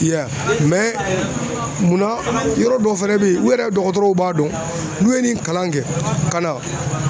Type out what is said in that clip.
I y'a ye munna yɔrɔ dɔw fɛnɛ bɛ yen u yɛrɛ dɔgɔtɔrɔw b'a dɔn n'u ye nin kalan kɛ ka na.